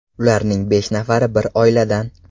Ularning besh nafari bir oiladan.